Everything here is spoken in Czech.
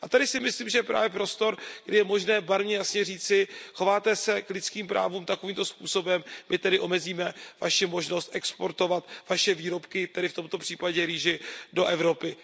A tady si myslím, že je právě prostor, kdy je možné Barmě jasně říci, chováte se k lidským právům takovýmto způsobem, my tedy omezíme vaši možnost exportovat vaše výrobky, tedy v tomto případě rýži, do Evropy.